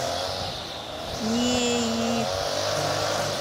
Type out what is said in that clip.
неи